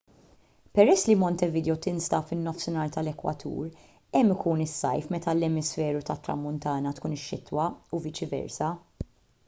peress li montevideo tinsab fin-nofsinhar tal-ekwatur hemm ikun is-sajf meta fl-emisferu tat-tramuntana tkun ix-xitwa u viċi versa